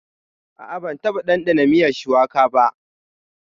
A'a ban taɓa ɗandana miyan shuwaka ba.